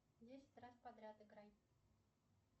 десять раз подряд играй